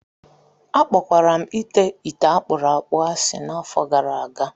Akpọkwara m ite ite akpuru akpu asị n'afọ gara aga